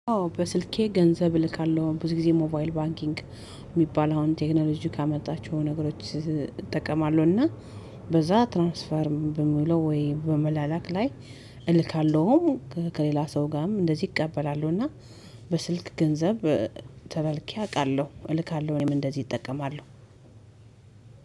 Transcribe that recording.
አዎ በስልኬ ገንዘብ እልካለሁ ብዙ ጊዜ ሞባይል ባንኪንግ የሚባል አሁን ቴክኖሎጂ ካመጣችሁ ነገሮች እጠቀማለሁ በዛ ትራንስፈርም በምለው ወይ በመላላክ ላይ እልካለሁም። ሰው ጋርም እንደዚህ እቀበላለሁ እና በስልክ ገንዘብ ተላልኬ አውቃለሁ እልካለሁ እኔም እንደዚህ እጠቀማለሁ።